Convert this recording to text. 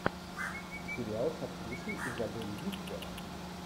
сериал с актрисой изабель юппер